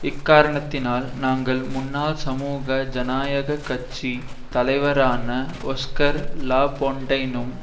இக்காரணத்தினால் நாங்கள் முன்னாள் சமூக ஜனநாயக கட்சி தலைவரான ஒஸ்கார் லாபொண்டைனும்